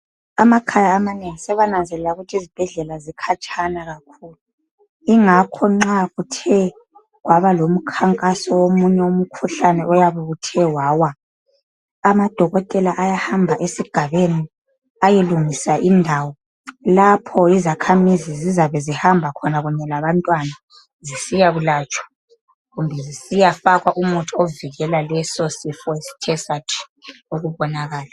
Amakhaya amanengi sebananzelela ukuthi zizibhedlela zikhatshana kakhulu. Ingakho nxa kuthe kwaba lomkhankaso womunye umkhuhlane oyabuthe wawa. Amadokotela ayahamba esigabeni, ayelungisa indawo lapho izakhamizi zizabe zihamba khona kunye labantwana zisiyakulatshwa, kumbe zisiyafakwa umuthi ovikela lesosifo esithe sathi ukubonaka.